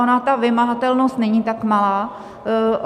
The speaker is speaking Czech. Ona ta vymahatelnost není tak malá.